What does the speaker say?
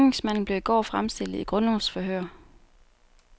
Gerningsmanden blev i går fremstillet i grundlovsforhør.